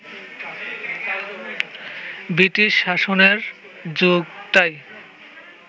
British শাসনের যুগটাই